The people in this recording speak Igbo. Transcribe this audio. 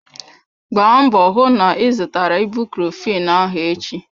Gbaa mbọ hụ na ị zụtara ibucrofen ahụ echi!